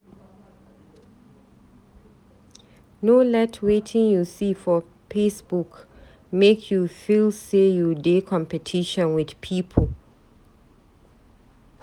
No let wetin you see for Facebook make you feel say you dey competition with pipu.